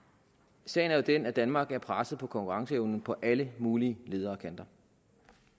sagen er jo den at danmark er presset på konkurrenceevnen på alle mulige leder og kanter